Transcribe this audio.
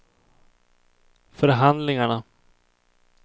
förhandlingarna